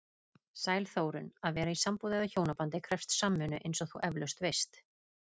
Sæl Þórunn, að vera í sambúð eða hjónabandi krefst samvinnu eins og þú efalaust veist.